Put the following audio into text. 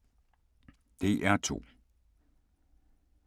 DR2